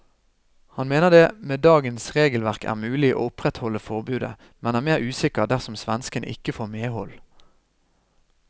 Han mener det med dagens regelverk er mulig å opprettholde forbudet, men er mer usikker dersom svenskene ikke får medhold.